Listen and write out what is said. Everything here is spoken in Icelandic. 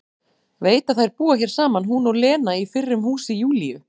Veit að þær búa hér saman hún og Lena í fyrrum húsi Júlíu.